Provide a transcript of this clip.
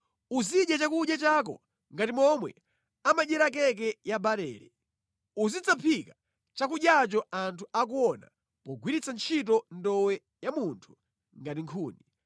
Uzidya chakudya chako ngati momwe amadyera keke ya barele. Uzidzaphika chakudyacho anthu akuona pogwiritsa ntchito ndowe ya munthu ngati nkhuni.”